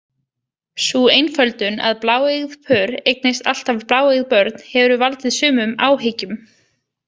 Sú einföldun að bláeygð pör eignist alltaf bláeygð börn hefur valdið sumum áhyggjum.